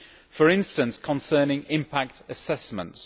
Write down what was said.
For instance, concerning impact assessments.